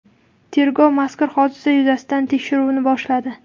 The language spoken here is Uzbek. Tergov mazkur hodisa yuzasidan tekshiruvni boshladi.